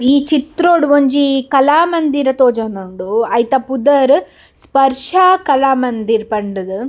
ಈ ಚಿತ್ರೊಡು ಒಂಜಿ ಕಲಾಮಂದಿರ ತೋಜೋಂದುಂಡು ಐತ ಪುದಾರ್‌ ಸ್ಪರ್ಶ ಕಲಾಮಂದಿರ್ ಪಂಡ್‌ದ್.